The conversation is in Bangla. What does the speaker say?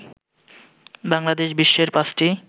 বাংলাদেশ বিশ্বের পাঁচটি